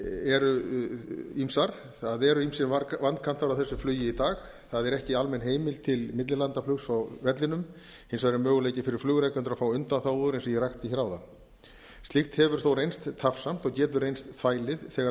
eru ýmsar það eru ýmsir vankantar á þessu flugi í dag það er ekki almenn heimild til millilandaflugs á vellinum hins vegar er möguleiki fyrir flugrekendur að fá undanþágur eins og ég rakti áðan slíkt hefur þó reynst tafsamt og getur reynst þvælið þegar það